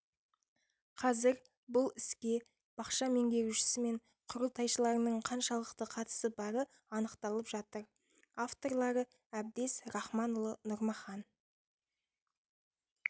қазір бұл іске бақша меңгерушісі мен құрылтайшыларының қаншалықты қатысы бары анықталып жатыр авторлары әбдез рахманұлы нұрмахан